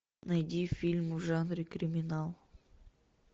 найди фильм в жанре криминал